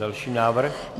Další návrh.